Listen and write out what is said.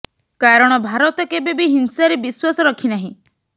କାରଣ ଭାରତ କେବେ ବି ହିଂସାରେ ବିଶ୍ୱାସ ରଖି ନାହିଁ